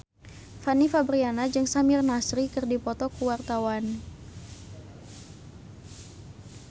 Fanny Fabriana jeung Samir Nasri keur dipoto ku wartawan